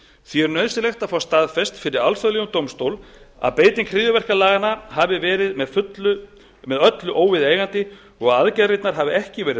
því er nauðsynlegt að fá staðfest fyrir alþjóðlegum dómstól að beiting hryðjuverkalaganna hafi verið með öllu óviðeigandi og að aðgerðirnar hafi ekki verið